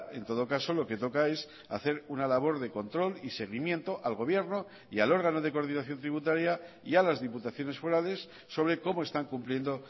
en todo caso lo que toca es hacer una labor de control y seguimiento al gobierno y al órgano de coordinación tributaria y a las diputaciones forales sobre cómo están cumpliendo